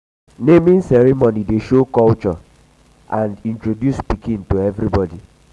naming ceremony dey show culture and um introduce pikin to everybody.